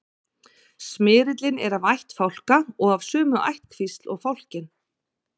smyrillinn er af ætt fálka og af sömu ættkvísl og fálkinn